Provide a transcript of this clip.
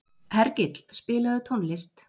Hergill, spilaðu tónlist.